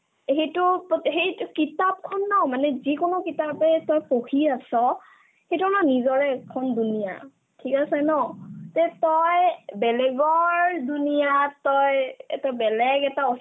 এই সেইটো প্ৰত্ সেইটো কিতাপখন না মানে যিকোনো কিতাপে তই পঢ়ি আছ সেইতো আমাৰ নিজৰে এখন duniya ঠিক আছে ন তে তই বেলেগৰ duniya ত তই এটা বেলেগ এটা